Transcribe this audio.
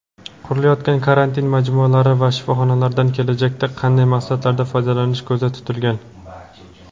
Qurilayotgan karantin majmualari va shifoxonlardan kelajakda qanday maqsadlarda foydalanish ko‘zda tutilgan?.